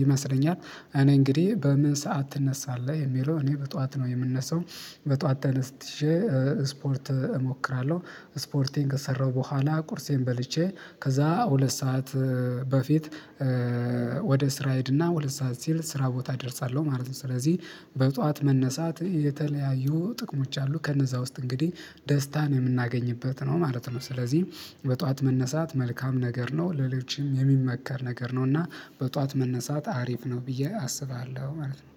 ይመስለኛል። እኔ እንግዲህ በምን ሰዓት ትነሳለህ የሚለው እኔ በጠዋት ነው የምነሳው። በጠዋት ተነስቼ ስፖርት እሞክራለሁ። ስፖርቴን ከሰራሁ በኋላ ቁርሴን በልቼ ከዛ ሁለት ሰዓት በፊት ወደ ስራ ሄድና ሁለት ሰዓት ሲል ስራ ቦታ ደርሳለሁ ማለት ነው። ስለዚህ በጧዋት መነሳት የተለያዩ ጥቅሞች አሉ ከነዛ ውስጥ እንግዲህ ደስታን የምናገኝበት ነው ማለት ነው። ስለዚህ በጧዋት መነሳት መልካም ነገር ነው ለሌሎችም የሚመከር ነገር ነው። እና በጧዋት መነሳት አሪፍ ነው ብዬ አስባለሁ ማለት ነው